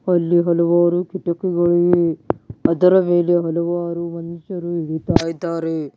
ಅಲ್ಲಿ ಹಲವಾರು ಕಿಟಕಿಗಳು ಇವೆ ಅದರ ಮೇಲೆ ಹಲವಾರು ಮನುಷ್ಯರು ಇಳಿತಾ ಇದ್ದಾರೆ.